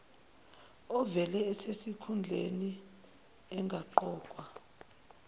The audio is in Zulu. ovele esesikhundleni engaqokwa